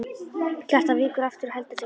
Kjartan víkur aftur og heldur seint.